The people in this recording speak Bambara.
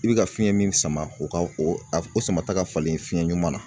I bɛ ka fiyɛn min sama o ka o a o sama ta ka falen fiyɛn ɲuman na